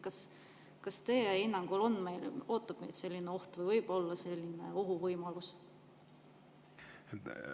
Kas teie hinnangul ootab meid selline oht või on sellise ohu võimalus?